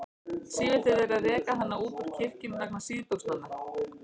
Sífellt er verið að reka hana út úr kirkjum vegna síðbuxnanna.